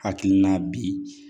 Hakilina bi